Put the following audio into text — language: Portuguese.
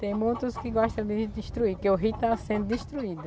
Tem muitos que gostam de destruir, porque o rio tá sendo destruído.